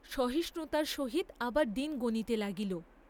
সহিষ্ণুতার সহিত আবার দিন গণিতে লাগিল।